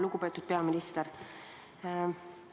Lugupeetud peaminister!